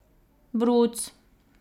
Bruc.